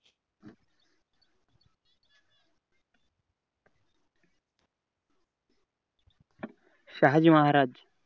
Shahaji Maharaj